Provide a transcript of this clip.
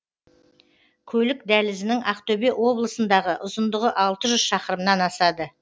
көлік дәлізінің ақтөбе облысындағы ұзындығы алты жүз шақырымнан асады